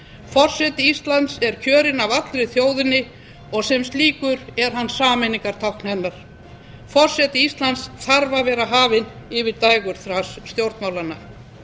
forseti íslands er kjörinn af allri þjóðinni og sem slíkur er hann sameiningartákn hennar forseti íslands þarf að vera hafinn yfir dægurþras stjórnmálanna